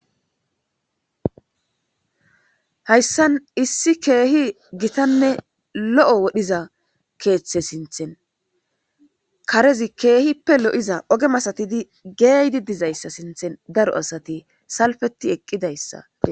hayssan issi keehi gitanne lo7o wodhiza keeththe sinthen karezi keehippe lo7iza oge masatidi geeydi dizayssa sinthen daro asati salfeti eqqidayssa